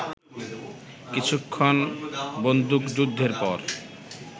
কিছুক্ষণ বন্দুকযুদ্ধের পর